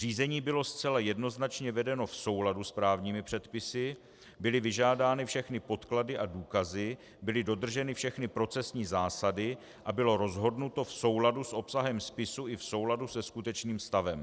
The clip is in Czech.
Řízení bylo zcela jednoznačně vedeno v souladu s právními předpisy, byly vyžádány všechny podklady a důkazy, byly dodrženy všechny procesní zásady a bylo rozhodnuto v souladu s obsahem spisu i v souladu se skutečným stavem.